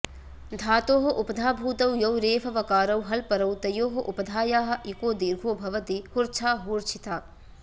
धातोः उपधाभूतौ यौ रेफवकारौ हल्परौ तयोः उपधायाः इको दीर्घो भवति हुर्च्छा हूर्च्छिता